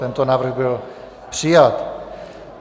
Tento návrh byl přijat.